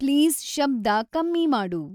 please ಶಬ್ದ ಕಮ್ಮಿ ಮಾಡು